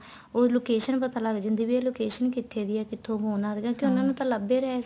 ਉਹ location ਪਤਾ ਲੱਗ ਜਾਂਦੀ ਏ ਵੀ ਆ location ਕਿੱਥੋ ਦੀ ਏ ਕਿੱਥੋ phone ਆ ਰਹੇ ਸੀ ਕਿਉਂਕਿ ਉਹਨਾ ਨੂੰ ਤਾਂ ਲੱਭ ਹੀ ਰਹੇ ਸੀ